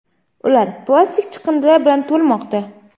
ular plastik chiqindilar bilan to‘lmoqda.